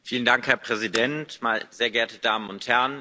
Herr Präsident, sehr geehrte Damen und Herren!